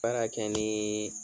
Baara kɛ ni